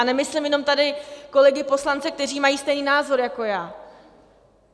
A nemyslím jenom tady kolegy poslance, kteří mají stejný názor jako já.